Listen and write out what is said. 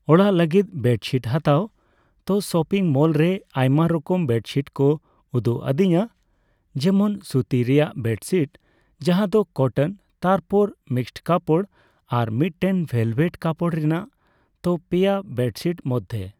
ᱚᱲᱟᱜ ᱞᱟᱹᱜᱤᱫ ᱵᱮᱰᱪᱷᱤᱴ ᱦᱟᱛᱟᱣ᱾ ᱛᱚ ᱥᱚᱯᱤᱝ ᱢᱚᱞ ᱨᱮ ᱟᱭᱢᱟ ᱨᱚᱠᱚᱢ ᱵᱮᱰᱥᱤᱴ ᱠᱚ ᱩᱫᱩᱜ ᱟᱹᱫᱤᱧᱟ᱾ ᱡᱮᱢᱚᱱ ᱥᱩᱛᱤ ᱨᱮᱱᱟᱜ ᱵᱮᱰᱥᱤᱴ ᱡᱟᱦᱟᱸᱫᱚ ᱠᱚᱴᱚᱱ᱾ ᱛᱟᱨᱯᱚᱨ ᱢᱤᱠᱥ ᱠᱟᱯᱚᱲ, ᱟᱨ ᱢᱤᱫᱴᱮᱱ ᱵᱷᱮᱞᱵᱷᱮᱴ ᱠᱟᱯᱚᱲ ᱨᱮᱱᱟᱜ᱾ ᱛᱚ ᱯᱮᱭᱟ ᱵᱮᱰᱥᱤᱴ ᱢᱚᱫᱽᱫᱷᱮ